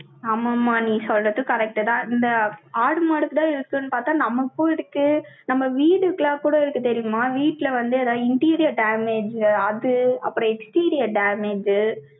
ஆமாம்மா, நீ சொல்றது correct தான். இந்த, ஆடு, மாடுதான் இருக்குன்னு பாத்தா, நமக்கும் இருக்கு. நம்ம வீடுகெல்லாம் கூட இருக்கு, தெரியுமா? வீட்டுல வந்து, ஏதாவது, interior damage, அது, அப்புறம், exterior damage உ